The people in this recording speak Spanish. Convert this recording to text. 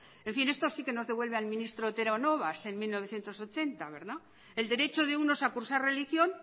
en fin esto sí que nos devuelve al ministro otero novas en mil novecientos ochenta verdad el derecho de unos a cursar religión